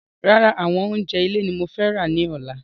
Rárá àwọn oúnjẹ ilé ní mo fẹ́ ra ní ọ̀la